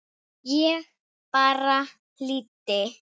Ég bara hlýddi!